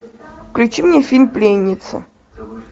включи мне фильм пленница